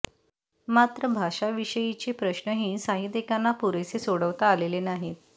मात्र भाषा विषयीचे प्रश्नही साहित्यिकांना पुरेसे सोडवता आलेले नाहीत